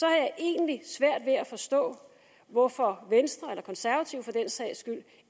jeg egentlig svært ved at forstå hvorfor venstre eller konservative for den sags skyld